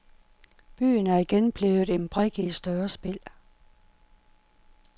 Byen er igen blevet en brik i et større spil.